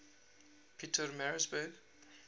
pietermaritzburg